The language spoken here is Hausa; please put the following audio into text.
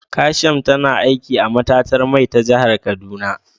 Kasham tana aiki a matatar mai ta jihar kaduna